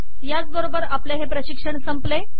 याच बरोबर आपले हे प्रशिक्षण संपले